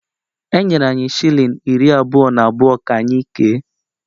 Enyere anyị shilling iri abụọ na abụọ ka anyị kee